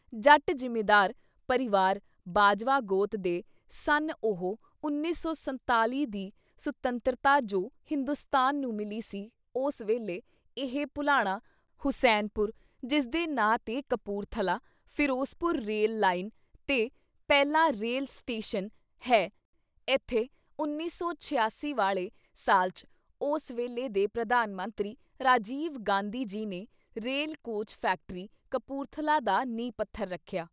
ਜੱਟ ਜਿੰਮੀਦਾਰ ਪਰਿਵਾਰ ਬਾਜਵਾ ਗੋਤ ਦੇ ਸਨ ਉਹ 1947 ਦੀ ਸੁਤੰਤਰਤਾ ਜੋ ਹਿੰਦੁਸਤਾਨ ਨੂੰ ਮਿਲੀ ਸੀ ਉਸ ਵੇਲੇ ਇਹ ਭੁਲਾਣਾ/ ਹੁਸੈਨ ਪੁਰ ਜਿਸਦੇ ਨਾਂ ਤੇ ਕਪੂਰਥਲਾ, ਫਿਰੋਜ਼ਪੁਰ ਰੇਲ ਲਾਈਨ ਤੇ ਪਹਿਲਾ ਰੇਲ ਸਟੇਸ਼ਨ ਹੈ ਏਥੇ 1986 ਵਾਲ਼ੇ ਸਾਲ 'ਚ ਉਸ ਵੇਲੇ ਦੇ ਪ੍ਰਧਾਨ ਮੰਤਰੀ ਰਾਜੀਵ ਗਾਂਧੀ ਜੀ ਨੇ ਰੇਲ ਕੋਚ ਫੈਕਟਰੀ ਕਪੂਰਥਲਾ ਦਾ ਨੀਂਹ ਪੱਥਰ ਰੱਖਿਆ।